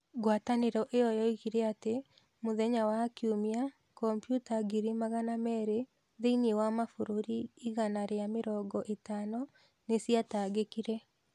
Ngwatanĩro ĩyo yoigire atĩ mũthenya wa Kiumia, kompiuta ngiri magana meerĩ thĩinĩ wa mabũrũri igana rĩa mĩrongo ĩtano nĩ ciatangĩkire.